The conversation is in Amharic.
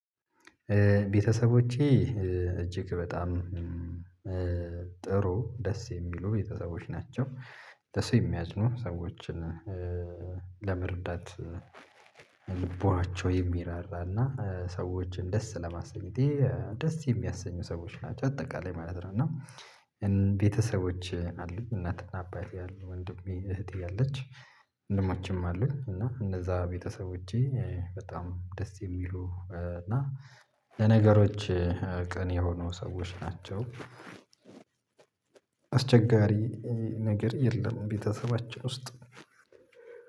ቤተሰቦቼ እጅግ በጣም ጥሩ ደስ የሚሉ ቤተሰቦች ናቸው ለሰው የሚያዝኑ ሰዎችን ለመርዳት ልቧቸው የሚራራና ሰዎችን ደስ ለማስኘት ደስ የሚያሰኙ ሰዎች ናቸው አጠቃላይ ማለት ነው። እና ቤተሰቦች አሉኝ እናትና አባት ያሉ ወንድሜ እህቴ አለች ወንድሞችም አሉኝ እና እነዛ ቤተሰቦቼ በጣም ደስ የሚሉ እና ለነገሮች ቅን የሆኑ ሰዎች ናቸው። አስቸጋሪ ነገር የለም ቤተሰባችን ውስጥ።